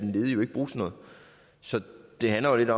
ledige jo ikke bruge til noget så det handler jo lidt